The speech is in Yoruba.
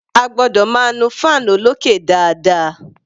A gbọ́dọ̀ máa nu fan olókè dáadáa.